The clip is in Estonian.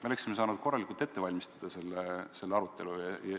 Me oleksime saanud korralikult ette valmistada selle arutelu.